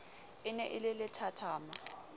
e ne e le lethathama